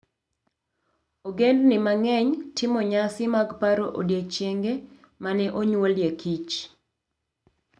Ogendini mang'eny timo nyasi mag paro odiechienge ma ne onyuolie Kich.